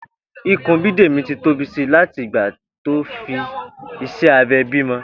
Ikùn Bídèmí ti tóbi si láti ìgbà tó fi iṣẹ́ abẹ bímọ